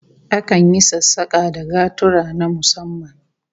Akan yi sassaka da gaturra na musamman